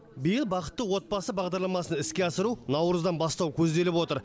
биыл бақытты отбасы бағдарламасын іске асыру наурыздан бастау көзделіп отыр